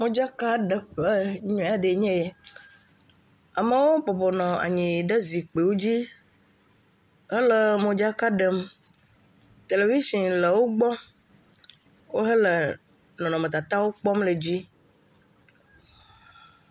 Modzakaɖeƒe nyuie aɖe nye ye. Amewo bɔbɔ nɔ anyi ɖe zikpuiwo dzi hele modzaka ɖem, televitsin le wo gbɔ wohele nɔnɔmetatawo kpɔm le dzi.